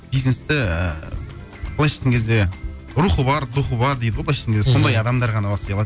бизнесті і былайша айтқан кезде рухы бар духы бар дейді ғой былайша айтқан кезде сондай адамдар ғана бастай алады